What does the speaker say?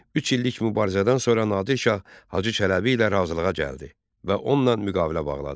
Üç illik mübarizədən sonra Nadir Şah Hacı Çələbi ilə razılığa gəldi və onunla müqavilə bağladı.